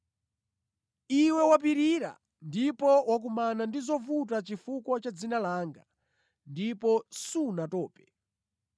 Iwe wapirira ndipo wakumana ndi zovuta chifukwa cha dzina langa, ndipo sunatope.